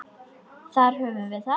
Þar höfum við það.